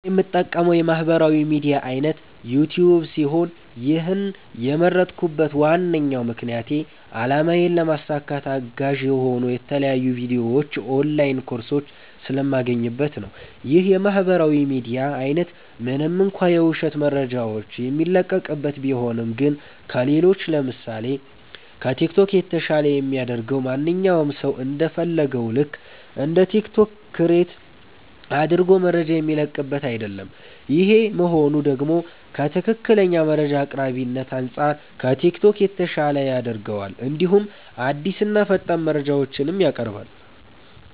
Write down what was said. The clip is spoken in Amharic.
እኔ የምጠቀመዉ የማህበራዊ ሚድያ አይነት ዩቲዩብ ሲሆን ይህን የመረጥኩበት ዋነኛ ምክንያቴ አላማዬን ለማሳካት አጋዥ የሆኑ የተለያዩ ቪዲዮዎች ኦንላይን ኮርሶች ስለማገኝበት ነዉ። ይህ የማህበራዊ ሚዲያ አይነት ምንም እንኳ የዉሸት መረጃዎች የሚለቀቅበት ቢሆንም ግን ከሌሎች ለምሳሴ፦ ከቲክቶክ የተሻለ የሚያደርገዉ ማንኛዉም ሰዉ እንደ ፈለገዉ ልክ እንደ ቲክቶክ ክሬት አድርጎ መረጃ የሚለቅበት አይደለም ይሄ መሆኑ ደግሞ ከትክክለኛ መረጃ አቅራቢነት አንፃር ከቲክቶክ የተሻለ ያደርገዋል እንዲሁም አዲስና ፈጣን መረጃዎችንም ያቀርባል።